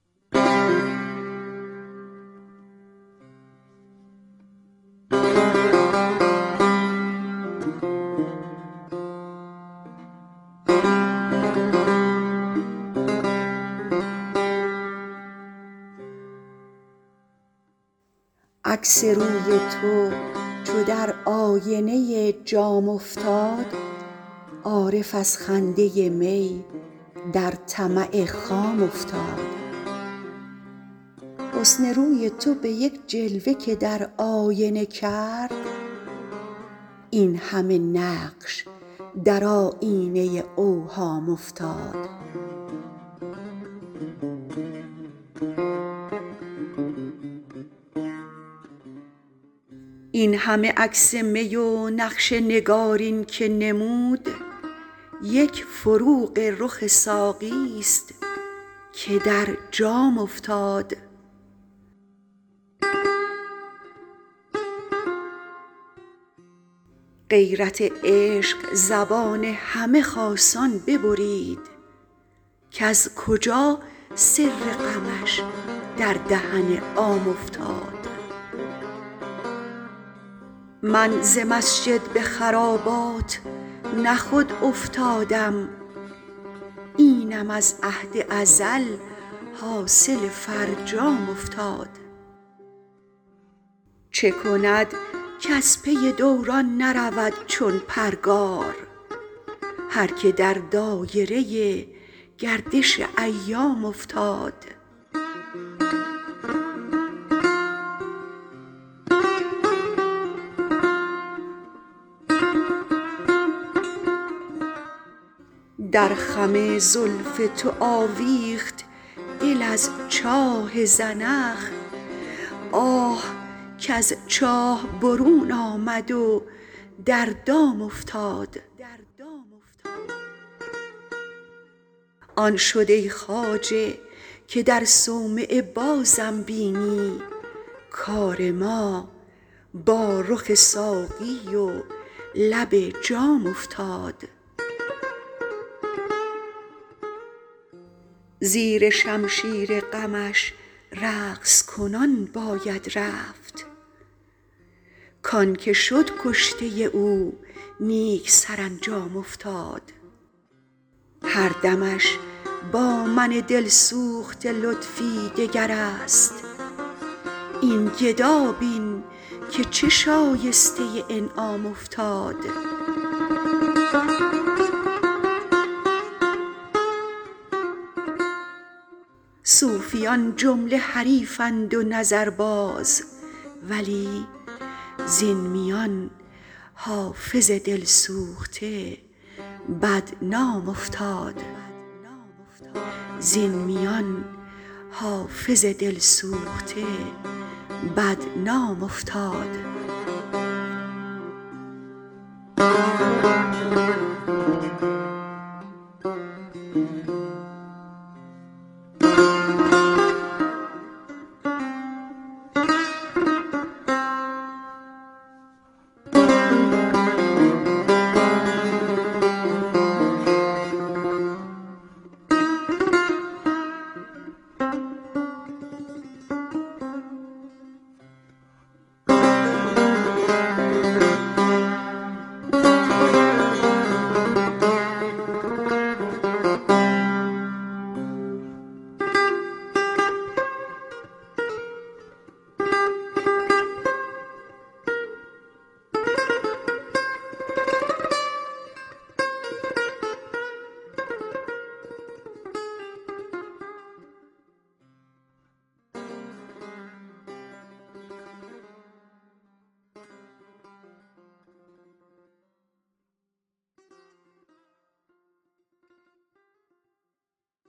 عکس روی تو چو در آینه جام افتاد عارف از خنده می در طمع خام افتاد حسن روی تو به یک جلوه که در آینه کرد این همه نقش در آیینه اوهام افتاد این همه عکس می و نقش نگارین که نمود یک فروغ رخ ساقی ست که در جام افتاد غیرت عشق زبان همه خاصان ببرید کز کجا سر غمش در دهن عام افتاد من ز مسجد به خرابات نه خود افتادم اینم از عهد ازل حاصل فرجام افتاد چه کند کز پی دوران نرود چون پرگار هر که در دایره گردش ایام افتاد در خم زلف تو آویخت دل از چاه زنخ آه کز چاه برون آمد و در دام افتاد آن شد ای خواجه که در صومعه بازم بینی کار ما با رخ ساقی و لب جام افتاد زیر شمشیر غمش رقص کنان باید رفت کـ آن که شد کشته او نیک سرانجام افتاد هر دمش با من دل سوخته لطفی دگر است این گدا بین که چه شایسته انعام افتاد صوفیان جمله حریفند و نظرباز ولی زین میان حافظ دل سوخته بدنام افتاد